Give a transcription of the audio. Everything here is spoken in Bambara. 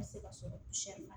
Ka se ka sɔrɔ la